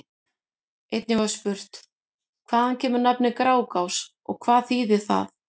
Einnig var spurt: Hvaðan kemur nafnið Grágás og hvað þýðir það?